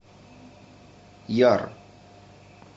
яр